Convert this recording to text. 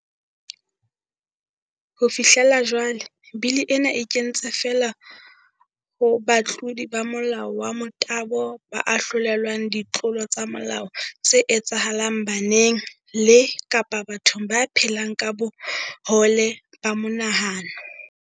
Ho fihlela jwale, bili ena e kentse feela ho batlodi ba molao wa motabo ba ahlolelwang ditlolo tsa molao tse etsahalang baneng le kapa bathong ba phelang ka bohole ba monahano.